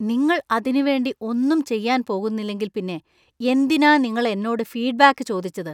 നിങ്ങൾ അതിനുവേണ്ടി ഒന്നും ചെയ്യാൻ പോകുന്നില്ലെങ്കിൽ പിന്നെ എന്തിനാ നിങ്ങൾ എന്നോട് ഫീഡ്ബാക്ക് ചോദിച്ചത്?